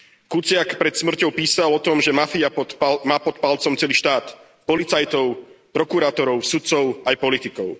Kuciak pred smrťou písal o tom, že mafia má pod palcom celý štát, policajtov, prokurátorov, sudcov a aj politikov.